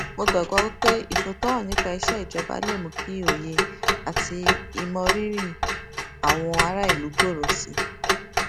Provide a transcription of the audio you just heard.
mo gbàgbọ wí pé ìfòòtọ hàn nípa iṣẹ ìjọba lè mú kí òye àti ìmọrírì àwọn aráàlú gbòòrò sí i